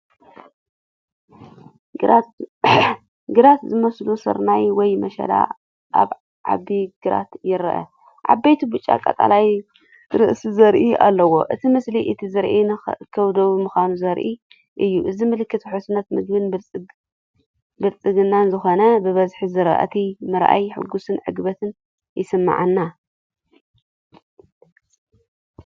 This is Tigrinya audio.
ግራት ዝበሰለ ስርናይ ወይ ምሸላ ኣብ ዓቢ ግራት ይረአ። ዓበይቲ ብጫ/ቀጠልያ ርእሲ ዘርኢ ኣለዎም። እቲ ምስሊ እቲ ዝራእቲ ንኽእከብ ድሉው ምዃኑ ዘርኢ እዩ። እዚ ምልክት ውሕስነት መግብን ብልጽግናን ዝኾነ ብብዝሒ ዝራእቲ ምርኣየይ ሕጉስን ዕግበትን ይስምዓኒ።